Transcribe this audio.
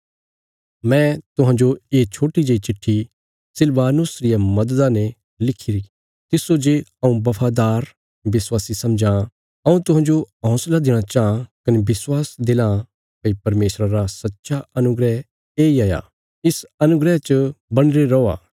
मैं तुहांजो ये छोट्टी जेई चिट्ठी सिलवानुस रिया मददा ने लिखिरा तिस्सो जे हऊँ बफादार विश्वासी समझां हऊँ तुहांजो हौंसला देणा चांह कने विश्वास दिलां भई परमेशरा रा सच्चा अनुग्रह येई हाया इस अनुग्रह च बणीरे रौआ